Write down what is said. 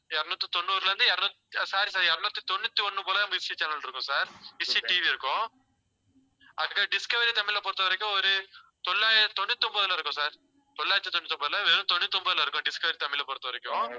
இருநூத்தி தொண்ணூறுல இருந்து இருநூ~ sorry sir இருநூத்தி தொண்ணூத்தி ஒண்ணு போல அந்த channel இருக்கும் sir TV இருக்கும் அடுத்தது டிஸ்கவரி தமிழ் பொறுத்தவரைக்கும் ஒரு தொள்ளா~ தொண்ணூத்தி ஒன்பதில இருக்கும் sir தொள்ளாயிரத்தி தொண்ணூத்தி ஒன்பது இல்ல வெறும் தொண்ணூத்தி ஒன்பதில இருக்கும் டிஸ்கவரி தமிழைப் பொறுத்தவரைக்கும்.